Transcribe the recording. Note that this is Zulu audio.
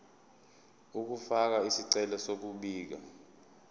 ukufaka isicelo sokubika